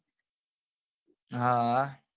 હા ભા